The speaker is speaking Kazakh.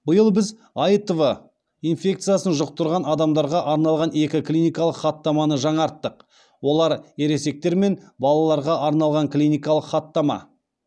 биыл біз аитв инфекциясын жұқтырған адамдарға арналған екі клиникалық хаттаманы жаңарттық олар ересектер мен балаларға арналған клиникалық хаттама